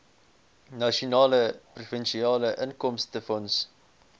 nasionale provinsiale inkomstefonds